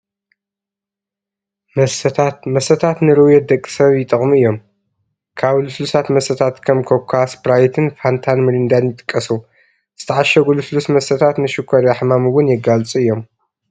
መስተታት፡- መስተታት ንርውየት ደቂ ሰብ ይጠቕሙ እዮም፡፡ ካብ ልስሉሳት መስተታት ከም ኮካ፣ ስኘራይት፣ ፋንታን ሚሪንዳን ይጥቀሱ፡፡ ዝተዓሸጉ ልስሉስ መስተታት ንሽኮርያ ሕማም ውን የጋልፁ እዮም፡፡